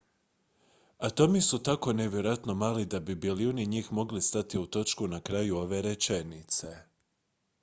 atomi su tako nevjerojatno mali da bi bilijuni njih mogli stati u točku na kraju ove rečenice